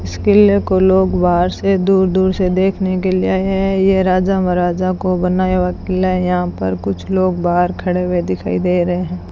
इस किले को लोग बाहर से दूर दूर से देखने के लिए आए है ये राजा महाराजा को बनाया हुआ किला यहां पर कुछ लोग बाहर खड़े हुए दिखाई दे रहे --